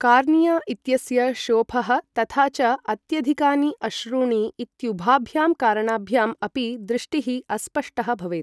Cornea इत्यस्य शोफः तथा च अत्यधिकानि अश्रूणि इत्युभाभ्यां कारणाभ्याम् अपि दृष्टिः अस्पष्टः भवेत्।